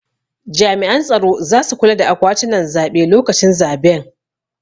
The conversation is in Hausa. Jami'an tsaro zasu kula da akwatunan zaɓe lokacin zaben